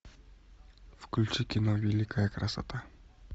включи кино великая красота